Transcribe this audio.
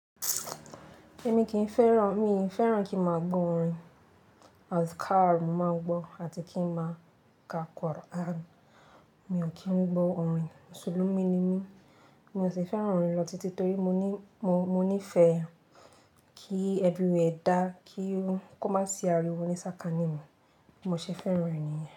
Èmi kì í fẹ́ràn, mi ì fẹ́ràn kí n máa gbọ́ orin adkar, mo máa n gbọ́ àti kí n máa ka Quran. Mi ò kí ń gbọ́ orin, Mùsùlùmí ni mí, mi ò sì fẹ́ràn orin lọ títí torí mo ní, mo, mo níì ifẹ́ kí ẹverywhẹre dá, kí ó má sì àríwo ní sáká nì mi, bi mo se fẹ́ràn ẹ̀ niyen.